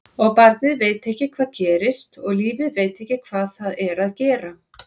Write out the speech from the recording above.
Og barnið veit ekki hvað gerist og lífið veit ekki hvað það er að gera.